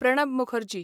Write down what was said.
Pranab Mukherjee